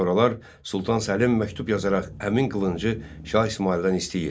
Sonralar Sultan Səlim məktub yazaraq həmin qılıncı Şah İsmayıldan istəyir.